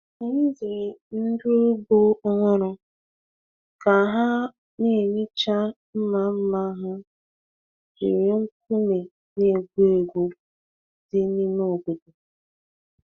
Anyị ziri ndị ugbo ọhụrụ ka ha na-ehicha mma mma ha jiri nkume na-egbu egbu dị n’ime obodo.